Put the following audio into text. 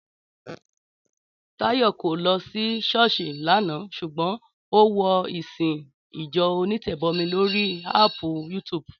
Táyọ̀ kọ̀ lọ sí ṣọ́ọ̀ṣì lánàá ṣùgbọ́n ó wo ìsìn ìjọ onítẹ̀bọmi lórí áàpù YouTube